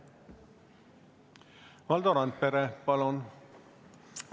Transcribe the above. Valdo Randpere, palun!